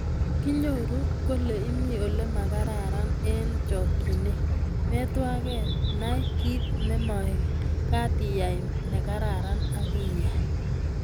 Kinyoru kole imi ole magararan eng chokchinet, metwagei-Nay kit nemagat iyai negararan ,akiyai